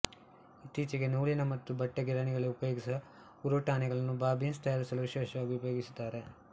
ಇತ್ತೀಚೆಗೆ ನೂಲಿನ ಮತ್ತು ಬಟ್ಟೆ ಗಿರಣಿಗಳಲ್ಲಿ ಉಪಯೋಗಿಸುವ ಉರುಟಣೆಗಳನ್ನು ಬಾಬಿನ್ಸ್ ತಯಾರಿಸಲು ವಿಶೇಷವಾಗಿ ಉಪಯೋಗಿಸುತ್ತಾರೆ